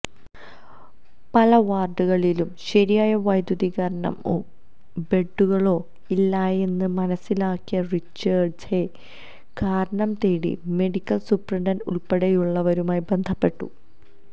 പല വാര്ഡുകളിലും ശരിയായ വൈദ്യുതികരണമോ ബെഡുകളോ ഇല്ലായെന്ന് മനസിലാക്കിയ റിച്ചാര്ഡ്ഹെ കാരണം തേടി മെഡിക്കല് സൂപ്രണ്ട് ഉള്പ്പടെയുള്ളവരുമായി ബന്ധപ്പെട്ടു